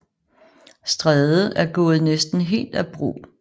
Stræde er gået næsten helt af brug